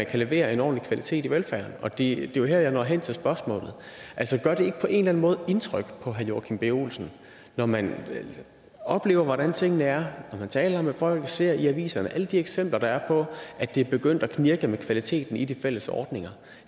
kan leveres en ordentlig kvalitet i velfærden og det er jo her jeg når hen til spørgsmålet gør det ikke på en eller anden måde indtryk på herre joachim b olsen når man oplever hvordan tingene er når man taler med folk ser i aviserne alle de eksempler der er på at det er begyndt at knirke med kvaliteten i de fælles ordninger